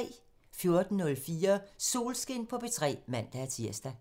14:04: Solskin på P3 (man-tir)